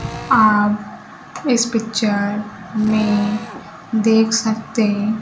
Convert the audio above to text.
आप इस पिक्चर में देख सकते--